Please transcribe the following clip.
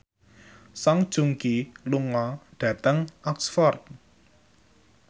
Song Joong Ki lunga dhateng Oxford